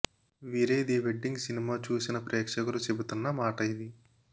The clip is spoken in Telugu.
వీరే ది వెడ్డింగ్ సినిమా చూసిన ప్రేక్షకులు చెబుతున్న మాట ఇది